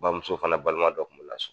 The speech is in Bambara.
Bamuso fana balima dɔ kun b'u la so